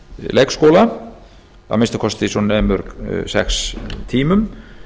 leikskóla að minnsta kosti svo nemur sex tímum